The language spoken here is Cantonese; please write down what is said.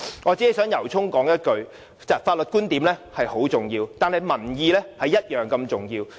我只想由衷說一句，法律觀點十分重要，但民意同樣重要。